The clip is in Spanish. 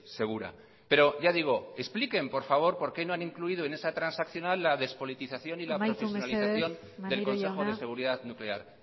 segura pero ya digo expliquen por favor porque no han incluido en esa transaccional la despolitización y la profesionalización del consejo de seguridad nuclear